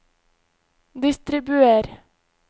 distribuer